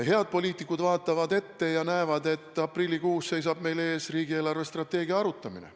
Head poliitikud vaatavad ette ja näevad, et aprillikuus seisab meil ees riigi eelarvestrateegia arutamine.